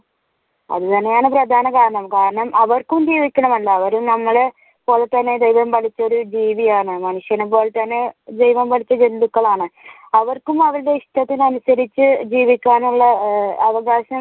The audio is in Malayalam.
അങ്ങനെയാണ് പ്രധാന കാരണം കാരണം അവർക്കും ജീവിക്കണമെന്ന അവരും നമ്മളെ പോലെ തന്നെ ദൈവം പടച്ചൊരു ജീവിയാണ് മനുഷ്യനെ പോലെ തന്നെ ദൈവം പടച്ച ജന്തുക്കളാണ് അവർക്കും അവരുടെ ഇഷ്ടത്തിന് അനുസരിച്ചു ജീവിക്കാനുള്ള ആഹ് അവകാശം